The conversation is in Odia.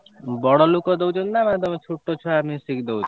ବଡ ଲୋକ ଦଉଛନ୍ତି ନା ତମେ ଛୋଟ ଛୁଆ ମିଶିକି ଦଉଛ?